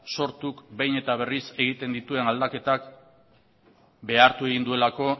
sortuk behin eta berriz egiten dituen aldaketak behartu egin duelako